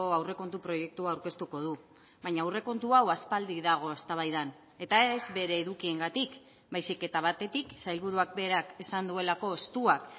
aurrekontu proiektua aurkeztuko du baina aurrekontu hau aspaldi dago eztabaidan eta ez bere edukiengatik baizik eta batetik sailburuak berak esan duelako estuak